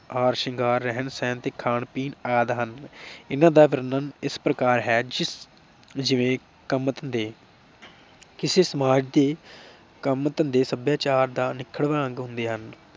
ਹਾਰ ਸ਼ਿੰਗਾਰ, ਰਹਿਣ ਸਹਿਣ ਅਤੇ ਖਾਣ ਪੀਣ ਆਦਿ ਹਨ। ਇਨ੍ਹਾਂ ਦਾ ਵਰਣਨ ਇਸ ਪ੍ਰਕਾਰ ਹੈ ਜਿਵੇਂ ਕੰਮ ਧੰਦੇ, ਕਿਸੇ ਸਮਾਜ ਦੇ ਕੰਮ ਧੰਦੇ ਸਭਿਆਚਾਰ ਦਾ ਨਿਖੜਵਾ ਅੰਗ ਹੁੰਦੇ ਹਨ।